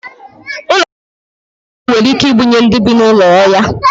ụlọ mposi ruru unyi nwere ike ibunye ndị bi n'ulo oya